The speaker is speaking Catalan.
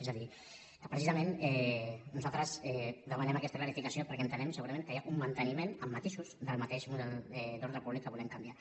és a dir que precisament nosaltres demanem aquesta clarificació perquè entenem segurament que hi ha un manteniment amb matisos del mateix model d’ordre públic que volem canviar